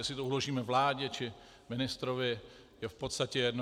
Jestli to uložíme vládě, či ministrovi, je v podstatě jedno.